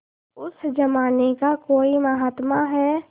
उस जमाने का कोई महात्मा है